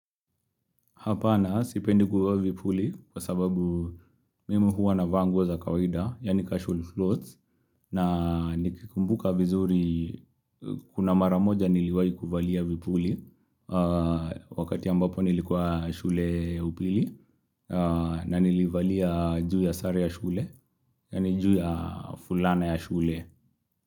Hapana sipendi kuvaa vipuli kwa sababu mimi huwa navaa nguo za kawaida, yaani casual clothes, na nikikumbuka vizuri kuna maramoja niliwahi kuvalia vipuli wakati ambapo nilikuwa shule ya upili, na nilivalia juu ya sare ya shule, yaani juu ya fulana ya shule.